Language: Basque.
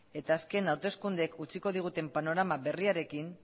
eta azken hauteskundeek utziko diguten panorama berriarekin